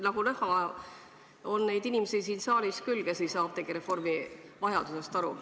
Nagu näha, siin saalis on neid inimesi küll, kes ei saa apteegireformi vajadusest aru.